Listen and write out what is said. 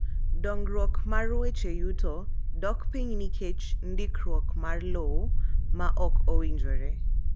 Dongruok mar weche yuto dok piny nikech ndikruok mar lowo ma ok owinjore.